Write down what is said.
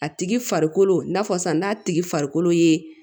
A tigi farikolo n'a fɔ sisan n'a tigi farikolo ye